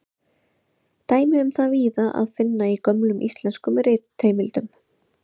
Dæmi um það er víða að finna í gömlum íslenskum ritheimildum.